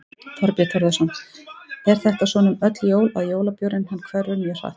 Þorbjörn Þórðarson: Er þetta svona um öll jól að jólabjórinn hann hverfur mjög hratt?